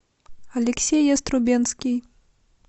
алексей яструбенский